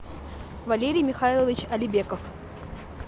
валерий михайлович алибеков